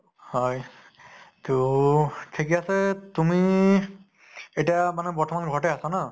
হয় তʼ ঠিকে আছে তুমি এতিয়া মানে বৰ্তমান ঘৰতে আছে ন?